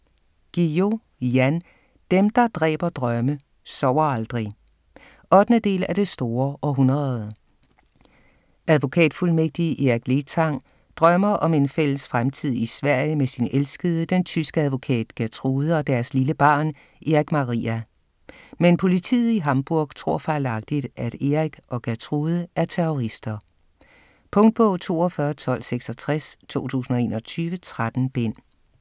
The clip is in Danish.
Guillou, Jan: Dem der dræber drømme sover aldrig 8. del af Det store århundrede. Advokatfuldmægtig Eric Letang drømmer om en fælles fremtid i Sverige med sin elskede, den tyske advokat Gertrude, og deres lille barn, Erich Maria. Men politiet i Hamburg tror fejlagtigt, at Eric og Gertrude er terrorister. Punktbog 421266 2021. 13 bind.